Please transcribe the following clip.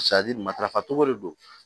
matarafa cogo de don